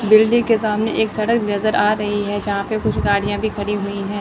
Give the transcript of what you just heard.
Building के सामने एक सड़क नजर आ रही है जहां पे कुछ गाडियां भी खड़ी हुई हैं।